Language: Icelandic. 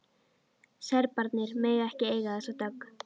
Serbarnir mega ekki eiga þessa dögg!